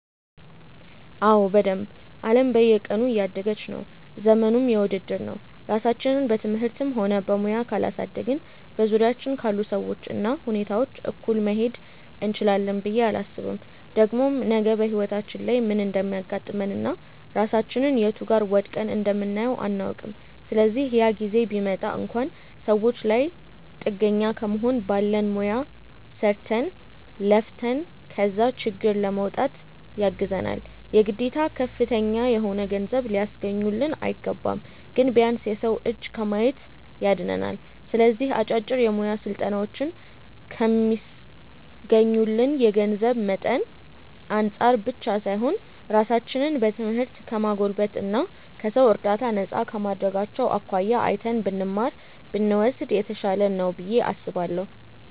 አዎ በደንብ። አለም በየቀኑ እያደገች ነው፤ ዘመኑም የውድድር ነው። ራሳችንን በትምህርትም ሆነ በሙያ ካላሳደግን በዙሪያችን ካሉ ሰዎች እና ሁኔታዎች እኩል መሄድ እንችላለን ብዬ አላስብም። ደግሞም ነገ በህይወታችን ላይ ምን እንደሚያጋጥመን እና ራሳችንን የቱ ጋር ወድቀን እንደምናየው አናውቅም። ስለዚህ ያ ጊዜ ቢመጣ እንኳን ሰዎች ላይ ጥገኛ ከመሆን ባለን ሙያ ሰርተን፣ ለፍተን ከዛ ችግር ለመውጣት ያግዘናል። የግዴታ ከፍተኛ የሆነ ገንዘብ ሊያስገኙልን አይገባም። ግን ቢያንስ የሰው እጅ ከማየት ያድነናል። ስለዚህ አጫጭር የሙያ ስልጠናዎችን ከሚስገኙልን የገንዘብ መጠን አንፃር ብቻ ሳይሆን ራሳችንን በትምህርት ከማጎልበት እና ከሰው እርዳታ ነፃ ከማድረጋቸው አኳያ አይተን ብንማር (ብንወስድ) የተሻለ ነው ብዬ አስባለሁ።